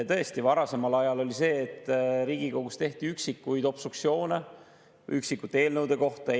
Tõesti, varasemal ajal oli nii, et Riigikogus tehti üksikuid obstruktsioone üksikute eelnõude puhul.